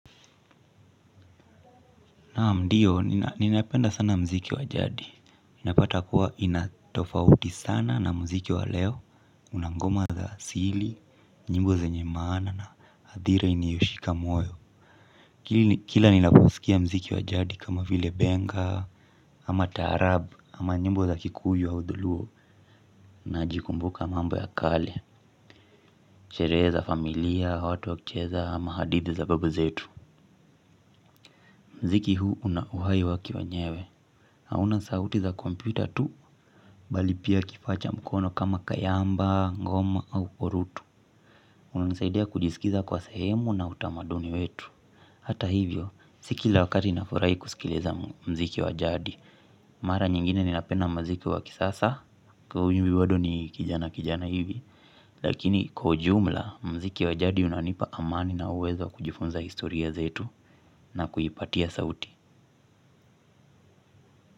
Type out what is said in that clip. Naam ndiyo, ninapenda sana mziki wa jadi. Inapata kuwa ina tofauti sana na mziki waleo, una ngoma za asili, nyimbo zenye maana na hadhira iniyoshika moyo. Kila ninaposikia mziki wa jadi kama vile benga, ama taarabu, ama nyimbo za kikuyu wa udhuluo. Najikumbuka mambo ya kale, sherehe za familia, watu wakicheza, ama hadithi za babu zetu. Mziki huu una uhai waki wenyewe. Hauna sauti za kompyuta tu bali pia kifaa cha mkono kama kayamba, ngoma au korutu unanisaidia kujisikiza kuwa sehemu na utamaduni wetu. Hata hivyo, sikila wakati nafurahi kusikiliza mziki wa jadi. Mara nyingine ninapenda mziki wa kisasa, kwahio ujue bado ni kijana kijana hivi. Lakini kwa ujumla, mziki wa jadi unanipa amani na uwezo kujifunza historia zetu na kuipatia sauti.